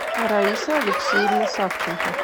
раиса алексеевна савченко